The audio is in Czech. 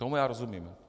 Tomu já rozumím.